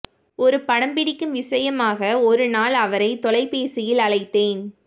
ஒரு படம் பிடிக்கும் விசயமாக ஒரு நாள் அவரை தொலைபேசியில் அழைத்தேன்